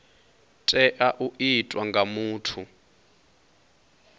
tea u itwa nga muthu